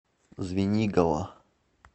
звенигово